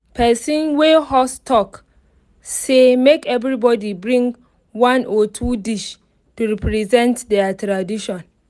person wey host talk say make everybody bring one or two dish to represent their tradition